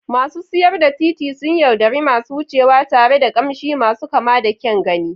Masu siyar da titi suna yaudari masu wucewa tare da ƙamshi masu kama da kyan gani.